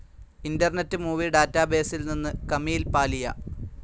internet movie ഡാറ്റാബേസിൽ നിന്ന് കമീൽ പാലിയ